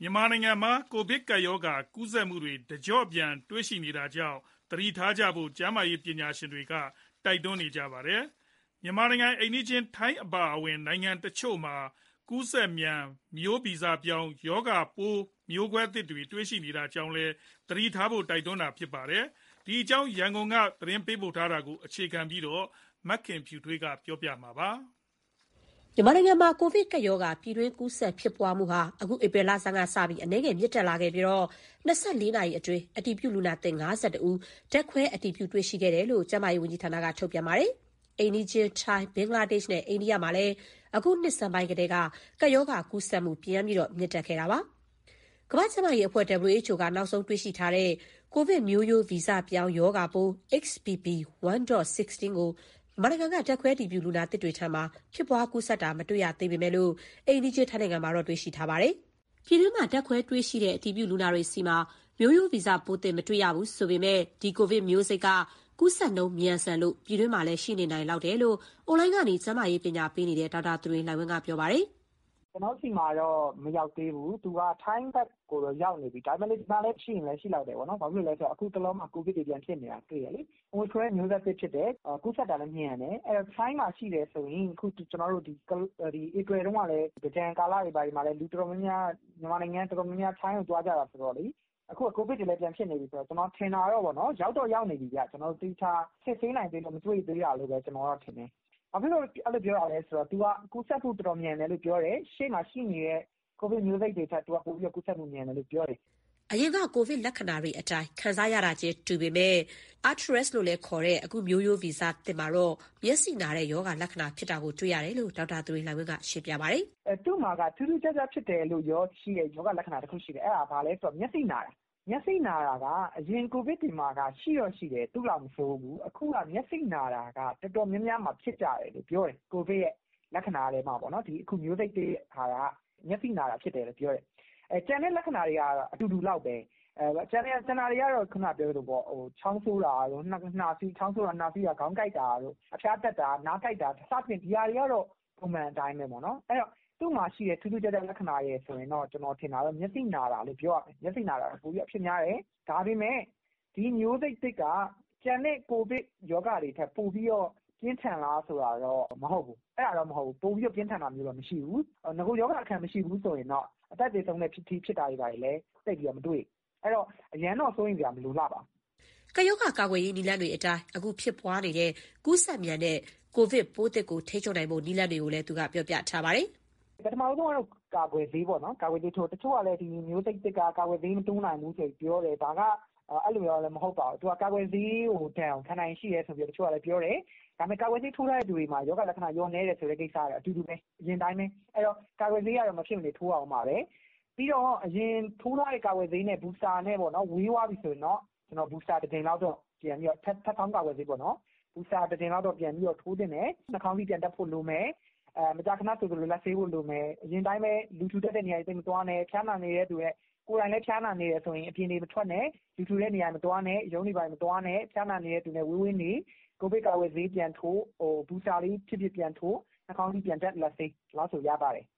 မြန်မာနိုင်ငံမှာ ကိုဗစ်ကပ်ရောဂါ ကူးစက်မှုတွေ တကျော့ပြန် တွေ့ရှိနေတာကြောင့် သတိထားဖို့ ကျန်းမာရေး ပညာရှင်တွေ တိုက်တွန်းနေပါတယ်။ မြန်မာနိုင်ငံ အိမ်နီးချင်း ထိုင်းနိုင်ငံ အပါအဝင် နိုင်ငံတချို့မှာ ကူးစက်မြန် မျိုးဗီဇပြောင်း ရောဂါပိုးမျိုးကွဲသစ်တွေ တွေ့ရှိနေတာကြောင့်လည်း သတိထားဖို့ တိုက်တွန်းနေကြတာပါ။ ဒီအကြောင်း ရန်ကုန်ကသတင်းပေးပို့ချက်ကို အခြေခံပြီး မခင်ဖြူထွေး ပြောပြမှာပါ။ မြန်မာနိုင်ငံမှာ ကိုဗစ်ကပ်ရောဂါ ပြည်တွင်းကူးစက်ဖြစ်ပွားမှု အခု ဧပြီလဆန်းကစပြီး အနည်းငယ်မြင့်တက်ခဲ့ပြီး၊ ၂၄ နာရီအတွင်း အတည်ပြုလူနာသစ် ၅၁ ဦး ဓာတ်ခွဲအတည်ပြု တွေ့ရှိခဲ့တယ်လို့ ကျန်းမာရေးဝန်ကြီးဌာနက ထုတ်ပြန်ထားပါတယ်။ အိမ်နီးချင်း ထိုင်း၊ ဘင်္ဂလားဒေ့ရှ်နဲ့ အိန္ဒိယမှာလည်း အခုနှစ်ဆန်းပိုင်းကတည်းက ကပ်ရောဂါကူးစက်မှု ပြန်ပြီးမြင့်တက်ခဲ့တာပါ။ ကမ္ဘာ့ကျန်းမာရေးဌာန WHO က နောက်ဆုံးတွေ့ရှိထားတဲ့ ကိုဗစ်မျိုးရိုးဗီဇပြောင်း ရောဂါပိုး XBB.1.16 ကို မြန်မာနိုင်ငံက ဓာတ်ခွဲအတည်ပြု လူနာသစ်တွေဆီမှာ ဖြစ်ပွားကူးစက်တာ မတွေ့ရသေးပေမယ့် အိမ်နီးချင်းထိုင်းနိုင်ငံမှာတော့ တွေ့ရှိထားပါတယ်။ ပြည်တွင်းမှာ ဓာတ်ခွဲတွေ့ရှိတဲ့ အတည်ပြုလူနာတွေဆီမှာ မျိုးဗီဇပိုးသစ် မတွေ့ရဘူးဆိုပေမယ့် ဒီကိုဗစ်မျိုးစိတ်က ကူးစက်နှုန်းမြန်ဆန်လို့ ပြည်တွင်းမှာလည်း ရှိနေနိုင်လောက်တယ်လို့ အွန်လိုင်းကနေ ကျန်းမာရေး ပညာပေးနေတဲ့ ဒေါက်တာသူရိန်လှိုင်ဝင်းက ပြောပါတယ်။ "ကျနော်တို့ ဒီမှာတော့ မရောက်သေးဘူး။ သူက ထိုင်းဘက်ကိုတော့ ရောက်နေပြီ။ ဒါပေမဲ့ ဒီမှာလည်း ရှိရင်ရှိလောက်တယ်။ ဘာဖြစ်လို့လဲဆိုတော့ အခုတလောမှာ ကိုဗစ်တွေပြန်ဖြစ်နေတာ တွေ့တယ်လေ။ အိုမီခရွန်ရဲ့ မျိုးဆက်သစ်ဖြစ်တယ်။ ကူးစက်တာလည်း မြန်တယ်။ အဲတော့ ထိုင်းမှာရှိတယ်ဆိုရင် အခုဧပြီတုန်းက သင်္ကြန်တွင်း မြန်မာနိုင်ငံကနေ ထိုင်းကိုတော်တော်များများ သွားကြတာဆိုတော့ အခုကိုဗစ်တွေလည်း ပြန်ဖြစ်နေပြီဆိုတော့ ကျနော်ထင်တာတော့ ရောက်တော့ရောက်နေပြီဗျ။ သေချာ မစစ်ဆေးနိုင်သေးလို့ မတွေ့သေးတာလို့ပဲ ထင်တယ်။ အဲတော့ မြန်မာနိုင်ငံမှာတော့ ရောက်နေလောက်ပြီ။ ဘာဖြစ်လို့ အဲလိုပြောတာလဲဆိုတော့ သူက ကူးစက်မှုတော်တော် မြန်တယ်လို့ပြောတယ်။ ရှေ့မှာရှိနေတဲ့ ကိုဗစ်မျိုးစိတ်တွေထက် သူကပိုပြီးတော့ ကူးစက်မှုမြန်တယ်လို့ ပြောတယ်။" အရင်က ကိုဗစ်လက္ခဏာတွေအတိုင်း ခံစားရတာချင်း တူပေမယ့် အခု မျိုးရိုးဗီဇ ပိုးသစ် Arcturus မှာတော့ မျက်စိနာတဲ့ ရောဂါလက္ခဏာ ဖြစ်တာကို တွေ့ရတယ်လို့ ဒေါက်တာသူရိန်လှိုင်ဝင်းက ရှင်းပြပါတယ်။ "သူ့မှာက ထူးထူးခြားခြားဖြစ်တယ်ဆိုတဲ့ ရောဂါလက္ခဏာတခုတော့ ရှိတယ်။ အဲဒါက ဘာလဲဆိုတော့ မျက်စိနာတာ။ မျက်စိနာတာက အရင်ကိုဗစ်တွေမှာက ရှိတော့ရှိတယ်၊ သူ့လောက်မဆိုးဘူး။ အခုက မျက်စိနာတာက အခုမျိုးစိတ်သစ်မှာ တော်တောများများ ဖြစ်ကြတယ်ပြောတယ်။ ကျန်တဲ့ ရောဂါလက္ခဏာတွေကတော့ အတူတူလောက်ပဲ။ ချောင်းဆိုး၊ နှာစေး၊ ခေါင်းကိုက်တာ၊ အဖျားတက်တာ၊ နားကိုက်တာ ဒါတွေကတော့ ပုံမှန်အတိုင်းပေါ့။ အဲတော့ သူ့မှာရှိတဲ့ ထူးထူးခြားခြားလက္ခဏာ ဆိုရင်တော့ မျက်စိနာတာလို့ ပြောရမယ်။ ဒါပေမဲ့ ဒီမျိုးစိတ်သစ်က ကျန်တဲ့ကိုဗစ်တွေထက်တော့ ပိုပြီးပြင်းထန်တာ မရှိဘူး။ နဂိုရောဂါအခံ မရှိဘူးဆိုရင်တော့ အသက်သေဆုံးတဲ့အထိဖြစ်တာ သိပ်မတွေ့ဘူး။ အဲတော့ အရမ်းတော့ စိုးရိမ်စရာ မလိုလှပါဘူး။" ကပ်ရောဂါကာကွယ်ရေး နည်းလမ်းတွေအတိုင်း အခုဖြစ်ပွားနေတဲ့ ကူးစက်မြန်တဲ့ ကိုဗစ်ပိုးသစ်ကို ထိန်းချုပ်နိုင်ဖို့ နည်းလမ်းတွေကိုလည်း ပြောပြထားပါတယ်။ "ပထမဦးဆုံးကတော့ ကာကွယ်ဆေးထိုးရမယ်ပေါ့နော်။ တချို့ကလည်း ဒီမျိုးစိတ်သစ်က ကာကွယ်ဆေးမတိုးနိုင်ဘူး ဆိုပြီးတော့ ပြောတယ်၊ အဲလိုတော့ မဟုတ်ပါဘူး။ ကာကွယ်ဆေးထိုးထားတဲ့ သူတွေမှာ ရောဂါလက္ခဏာ လျော့နည်းတယ်ဆိုတဲ့ ကိစ္စက အတူတူပဲ။ အဲတော့ ကာကွယ်ဆေးကတော့ မဖြစ်မနေထိုးရဦးမှာပဲ။ အရင်ထိုးထားတဲ့ ကာကွယ်ဆေးနဲ့ ဝေးသွားပြီဆိုရင်တော့ ထပ်ဆောင်းကာကွယ်ဆေး Booster တကြိမ်လောက်တော့ ထပ်ပြီးထိုးသင့်တယ်။ နှာခေါင်းစည်း ပြန်တပ်ဖို့လိုမယ်။ မကြာခဏ လက်ဆေးဖို့လိုတယ်။ အရင်အတိုင်းပဲ လူထူထပ်တဲ့နေရာ သိပ်မသွားဘဲ ကိုယ်တိုင်လည်း ဖျားနာနေတယ်ဆိုရင် အပြင်မထွက်နဲ့။ ကိုဗစ်ကာကွယ်ဆေး Booster ပြန်ထိုး၊ နှာခေါင်စည်းတပ်၊ လက်ဆေး ဒီလောက်ဆိုရပါတယ်။